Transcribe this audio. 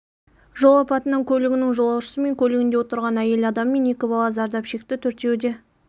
жол апатынан көлігінің жолаушысы мен көлігінде отырған әйел адам мен екі бала зардап шекті төртеуі де